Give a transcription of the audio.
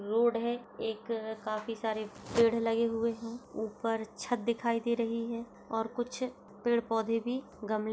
एक रोड है एक अ काफी सारे पेड़ लगे हुए है ऊपर छत दिखाई दे रही है और कुछ पेड़-पौधे भी गमले --